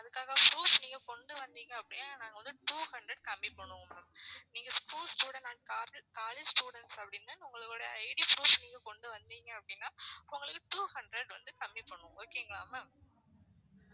அதுக்கான proof நீங்க கொண்டு வந்தீங்க அப்படின்னா நாங்க வந்து two hundred கம்மி பண்ணுவோம் உங்களுக்கு நீங்க school student or college students அப்படின்னு உங்களோட ID proof நீங்க கொண்டு வந்தீங்க அப்படின்னா உங்களுக்கு two hundred வந்து கம்மி பண்ணுவோம் okay ங்களா ma'am